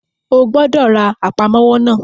O gbọ́dọ̀ ra Àpámọ́wọ́ náà!